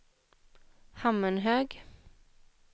Hammenhög